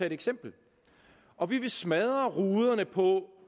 et eksempel og smadre ruderne på